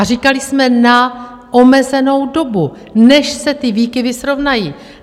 A říkali jsme - na omezenou dobu, než se ty výkyvy srovnají.